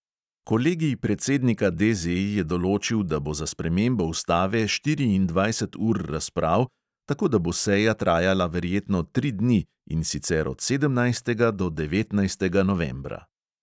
Kolegij predsednika DZ je določil, da bo za spremembo ustave štiriindvajset ur razprav, tako da bo seja trajala verjetno tri dni, in sicer od sedemnajstega do devetnajstega novembra.